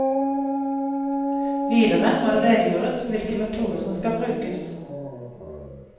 Videre må det redegjøres for hvilke metoder som skal brukes.